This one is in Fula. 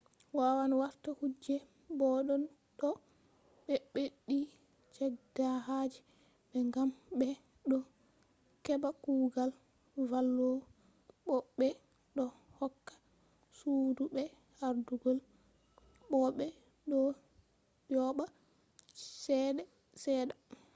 wawan warta kuje boddon to be beddi cehdehaaje mai gam be do heba kugal vallowo bo be do hokka sudu be ardugol bo be do yoba cede sedda